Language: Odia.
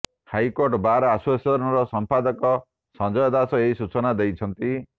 ହାଇକୋର୍ଟ ବାର୍ ଆସୋସିଏସନର ସଂପାଦକ ସଂଜୟ ଦାସ ଏହି ସୂଚନା ଦେଇଛନ୍ତି